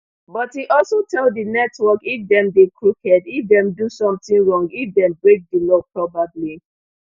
but e also tell di network if dem dey crooked if dem do something wrong if dem break di law probably